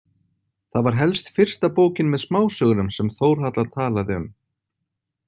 Það var helst fyrsta bókin með smásögunum sem Þórhalla talaði um.